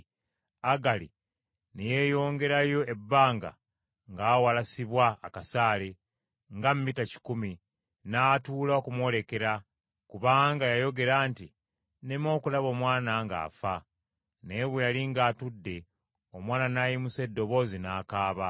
Agali ne yeeyongerayo ebbanga ng’awalasibwa akasaale, nga mita kikumi, n’atuula okumwolekera, kubanga yayogera nti, “Nneme okulaba omwana ng’afa.” Naye bwe yali ng’atudde, omwana n’ayimusa eddoboozi n’akaaba.